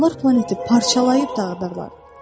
onlar planeti parçalayıb dağılayıb dağıdarlar.